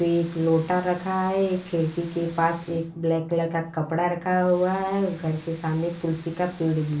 पे एक लोटा रखा है एक खिड़की के पास एक ब्लैक कलर का कपड़ा रखा हुआ है उस घर के सामने एक तुलसी का पेड़ भी --